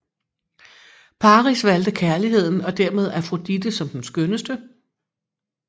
Paris valgte kærligheden og dermed Afrodite som den skønneste